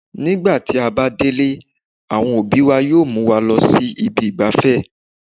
Nígbà tí a bá délé, àwọn òbí wa yóò mú wa lọ sí ibi ìgbafẹ́